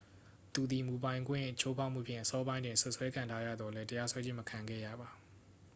သူသည် မူပိုင်ခွင့်ချိုးဖောက်မှုဖြင့် အစောပိုင်းတွင် စွပ်စွဲခံထားရသော်လည်း တရားစွဲခြင်း မခံခဲ့ရပါ